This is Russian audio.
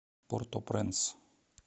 порт о пренс